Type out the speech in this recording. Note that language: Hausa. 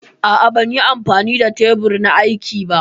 A'a ban yi amfani da tebur na aiki ba.